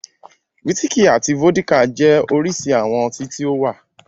Wísíkì àti vódíkà jẹ́ oríṣi àwọn ọtí tí ó wà.